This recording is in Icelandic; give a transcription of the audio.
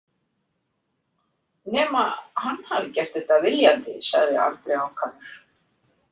Nema hann hafi gert þetta viljandi, sagði Andri ákafur.